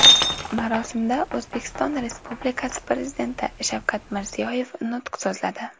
Marosimda O‘zbekiston Respublikasi Prezidenti Shavkat Mirziyoyev nutq so‘zladi.